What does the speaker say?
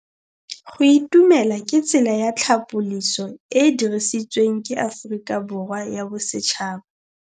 Go itumela ke tsela ya tlhapolisô e e dirisitsweng ke Aforika Borwa ya Bosetšhaba.